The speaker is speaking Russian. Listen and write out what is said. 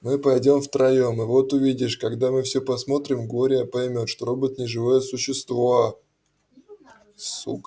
мы пойдём втроём и вот увидишь когда мы всё посмотрим глория поймёт что робот не живое существо сука